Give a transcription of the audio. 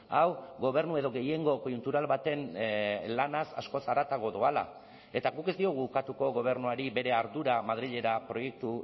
hau gobernu edo gehiengo koiuntural baten lanaz askoz haratago doala eta guk ez diogu ukatuko gobernuari bere ardura madrilera proiektu